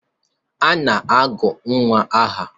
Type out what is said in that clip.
A na-agụ nnwa aha.